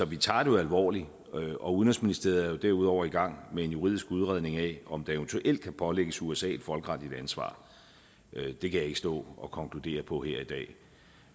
vi tager det jo alvorligt udenrigsministeriet er jo derudover i gang med en juridisk udredning af om der eventuelt kan pålægges usa et folkeretligt ansvar det kan jeg ikke stå og konkludere på her i dag